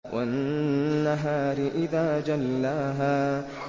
وَالنَّهَارِ إِذَا جَلَّاهَا